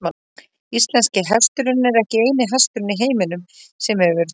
Íslenski hesturinn er ekki eini hesturinn í heiminum sem hefur tölt.